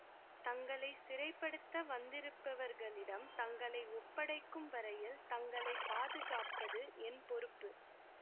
தங்களை சிறைப்படுத்த வந்திருப்பவர்களிடம் தங்களை ஒப்படைக்கும் வரையில் தங்களை பாதுகாப்பது என் பொறுப்பு